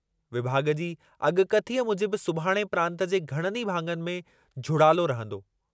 विभाॻ जी अॻकथीअ मूजिबि सुभाणे प्रांतु जे घणनि ई भाङनि में झुड़ालो रहंदो।